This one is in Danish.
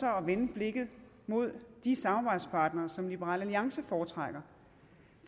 at vende blikket mod de samarbejdspartnere som liberal alliance foretrækker